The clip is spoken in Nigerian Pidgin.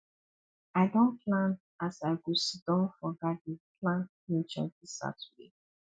i don plan as i go siddon for garden plant nature dis saturday